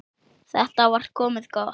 Þetta var komið gott.